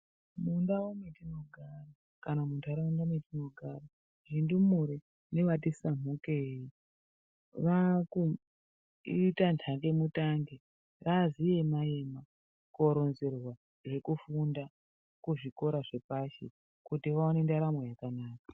Mundau mwatinogara kana muntharaunda metinogara ndumure nevati samukei vaakuita nhangemutange zvazviema ema koronzerwa zvekufunda kuzvikora zvepashi kuti vaone ndaramo yakanaka.